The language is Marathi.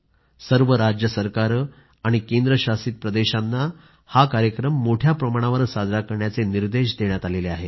सर्व राज्य सरकारे आणि केंद्र शासित प्रदेशांनाही हा कार्यक्रम मोठ्या प्रमाणावर साजरा करण्याचे निर्देश देण्यात आले आहेत